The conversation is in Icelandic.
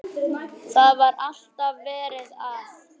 Það var alltaf verið að.